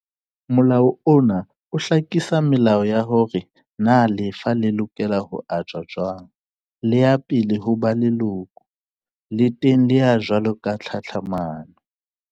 Molao ona o hlakisa melao ya hore na lefa le lokela ho ajwa jwang. Le ya pele ho ba lekolo, le teng le ya jwalo ka tlhatlhamano.